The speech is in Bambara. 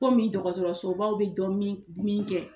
Komi dɔgɔtɔrɔsobaw bɛ dɔ min min kɛ.